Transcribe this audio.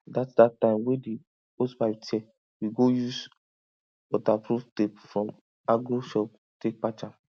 that that time wey the hosepipe tear we go use waterproof tape from agro shop take patch am